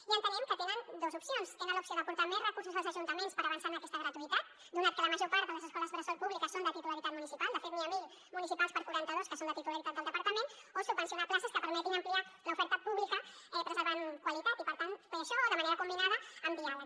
i entenem que tenen dos opcions tenen l’opció d’aportar més recursos als ajuntaments per avançar en aquesta gratuïtat donat que la major part de les escoles bressol públiques són de titularitat municipal de fet n’hi ha mil de municipals per quaranta dos que són de titularitat del departament o subvencionar places que permetin ampliar l’oferta pública preservant qualitat i per tant fer això o de manera combinada amb diàleg